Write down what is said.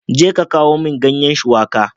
Jeka kawo min ganye shuwaƙa.